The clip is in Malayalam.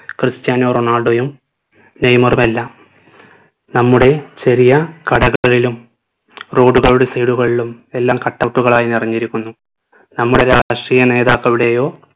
ക്രിസ്ത്യാനോ റൊണാൾഡോയും നെയ്മറുമെല്ലാം നമ്മുടെ ചെറിയ കടകളിലും road കളുടെ side കളിലും എല്ലാം cut out ഉകളായി നിറഞ്ഞിരിക്കുന്നു നമ്മളെ രാഷ്ട്രീയ നേതാക്കളുടെയോ